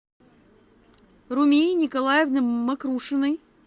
румии николаевны мокрушиной